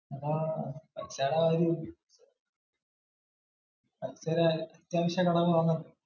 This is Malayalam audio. അആഹ് ഏതായാലും മറ്റേത് ഒരു അത്യാവശ്യ ഘടകമാണല്ലോ.